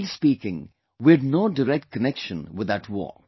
Rightly speaking we had no direct connection with that war